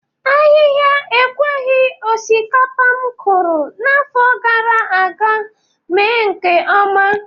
Ahịha ekweghi osikapa m kụrụ n'afọ gara aga mee nke ọma.